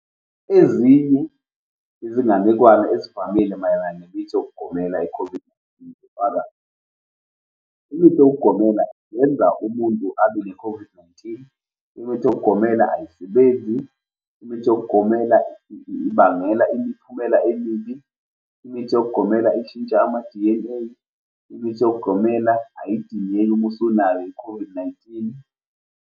Ezinye zezinganekwane ezivamile mayelana nemithi ngokugomela i-COVID-19 zifaka, imithi ngokugomela yenza umuntu abe ne-COVID-19, imithi egomela ayisebenzi, imithi yookugomela ibangela imiphumela emibi, imithi yookugomela ishintsha ama-D_N_A, imithi ngokugomela ayidingeki umusunayo i-COVID-19.